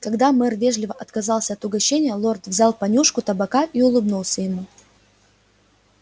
когда мэр вежливо отказался от угощения лорд взял понюшку табака и улыбнулся ему